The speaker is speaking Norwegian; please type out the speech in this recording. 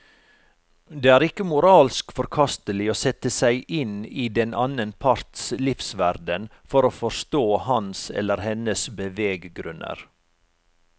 Det er ikke moralsk forkastelig å sette seg inn i den annen parts livsverden for å forstå hans eller hennes beveggrunner.